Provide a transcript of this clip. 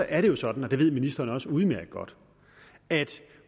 er det jo sådan det ved ministeren også udmærket godt at